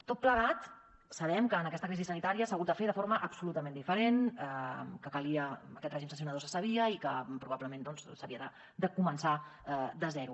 tot plegat sabem que en aquesta crisi sanitària s’ha hagut de fer de forma absolutament diferent que calia aquest règim sancionador se sabia i que probablement doncs s’havia de començar de zero